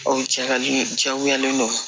Ɔ jalen jagoyalen don